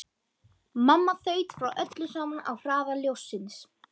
Mamma þaut frá öllu saman á hraða ljóssins.